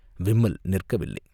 விம்மல் நிற்கவில்லை.